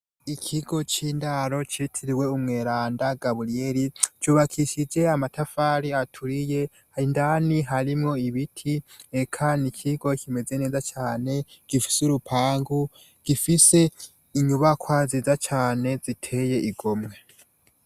Ikigo cindaro citiririwe umweranda gaburiele cubakishijwe amatafari aturiye indani harimwo ibiti eka nikigo kimeze neza cane gifise urupangu gifise inyubakwa nziza cane ziteye igomwe